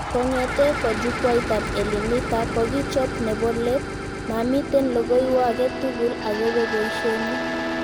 Kongetee ko jukwaitab Elimika kokichob nebo let, mamiten logoiwo aketugul akobo boishenyi